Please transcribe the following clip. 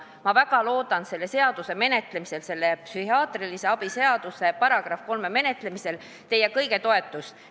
Ma väga loodan selle seaduseelnõu, selle psühhiaatrilise abi seaduse § 3 täiendamise seaduse eeelnõu menetlemisel teie kõigi toetust.